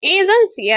Eh, zan siya.